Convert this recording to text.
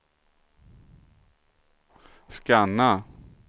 scanna